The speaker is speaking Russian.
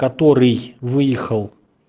который выехал